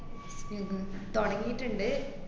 തുടങ്ങീട്ട്ണ്ട്.